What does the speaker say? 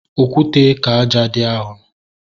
Okwute ka ájá dị arọ